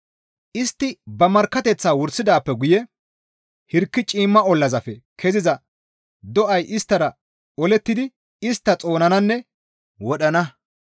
Istti ba markkateththaa wursidaappe guye hirki ciimma ollazappe keziza do7ay isttara olettidi istta xoonananne wodhana.